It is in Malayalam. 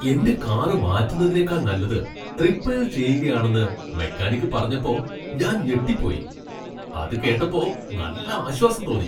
എന്റെ കാർ മാറ്റുന്നതിനേക്കാൾ നല്ലത് റിപ്പയർ ചെയ്യുകയാണെന്ന് മെക്കാനിക് പറഞ്ഞപ്പോ ഞാൻ ഞെട്ടിപ്പോയി. അത് കേട്ടപ്പോ നല്ല ആശ്വാസം തോന്നി.